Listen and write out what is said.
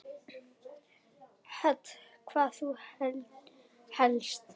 Hödd: Hvað þá helst?